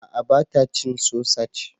A'a ba ta cin sosaj